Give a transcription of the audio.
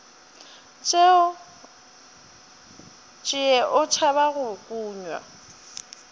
tšee o tšhaba go kunywa